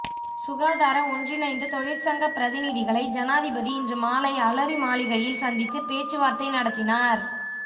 சுகாதார ஒன்றிணைந்த தொழிற்சங்க பிரதிநிதிகளை ஜனாதிபதி இன்று மாலை அலரி மாளிகையில் சந்தித்துப் பேச்சுவார்த்தை நடத்தினார்